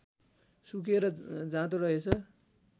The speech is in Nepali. सुकेर जाँदो रहेछ